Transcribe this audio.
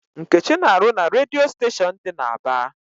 Nkechi na-arụ na redio station dị n'Aba.